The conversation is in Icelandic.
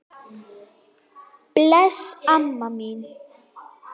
Bless, amma mín.